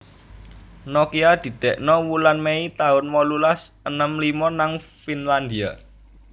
Nokia didekno wulan Mei tahun wolulas enem limo nang Finlandia